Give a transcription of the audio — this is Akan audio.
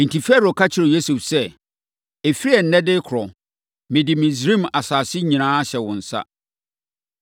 Enti, Farao ka kyerɛɛ Yosef sɛ, “Ɛfiri ɛnnɛ de rekorɔ, mede Misraim asase nyinaa ahyɛ wo nsa.”